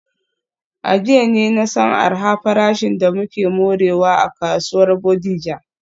A jiya ne na san arha farashin da muke morewa a kasuwar Bodija.